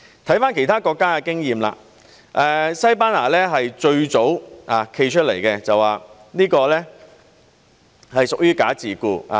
看看其他國家的經驗，西班牙是最早站出來說這是屬於"假自僱"。